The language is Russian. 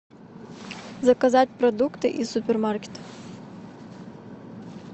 заказать продукты из супермаркета